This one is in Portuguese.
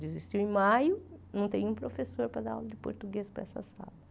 Desistiu em maio, não tem nenhum professor para dar aula de português para essa sala.